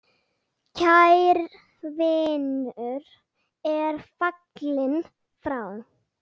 Kær vinur er fallinn frá.